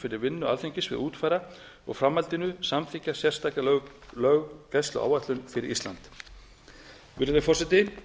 fyrir vinnu alþingis við að útfæra og í framhaldinu samþykkja sérstaka löggæsluáætlun fyrir ísland virðulegi forseti